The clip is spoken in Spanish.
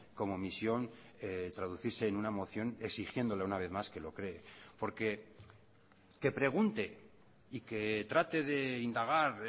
como misión traducirse en una moción exigiéndole una vez más que lo cree porque que pregunte y que trate de indagar